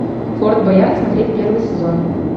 форт боярд смотреть первый сезон